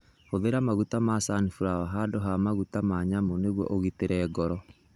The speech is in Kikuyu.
Hũthĩra maguta ma sunflower handũ ha maguta ma nyamũ nĩguo ũgitĩre ngoro.